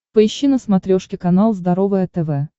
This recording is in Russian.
поищи на смотрешке канал здоровое тв